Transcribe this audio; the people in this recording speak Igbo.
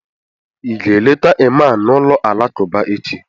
ị ga-eleta ịman n'ụlọ alakụba echi?